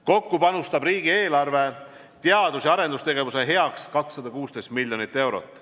Kokku panustab riigieelarve teadus- ja arendustegevuse heaks 216 miljonit eurot.